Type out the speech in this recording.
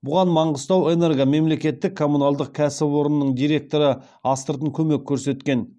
бұған мангистауэнерго мемлекеттік коммуналдық кәсіпорынның директоры астыртын көмек көрсеткен